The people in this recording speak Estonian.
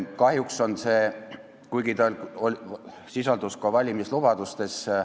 Kahjuks on see idee välja jäänud koalitsioonilepingust, kuigi ta sisaldus ka valimislubadustes.